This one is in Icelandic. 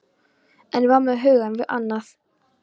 En var með hugann við annað.